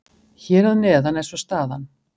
Hér að neðan er svo staðan.